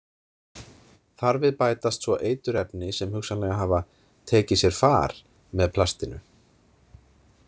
Þar við bætast svo eiturefni sem hugsanlega hafa „tekið sér far“ með plastinu.